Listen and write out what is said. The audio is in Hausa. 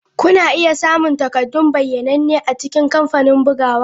Kuna iya samun takaddun bayyananne a cikin kamfanin bugawa.